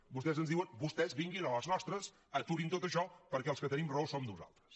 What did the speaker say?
vostès ens ho diuen vostès vinguin a les nostres aturin tot això perquè els que tenim raó som nosaltres